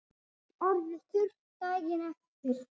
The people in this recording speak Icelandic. Allt orðið þurrt daginn eftir.